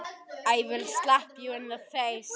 Sem ég lauk ekki við.